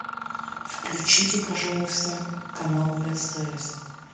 включите пожалуйста канал стс